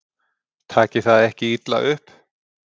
Takið það ekki illa upp.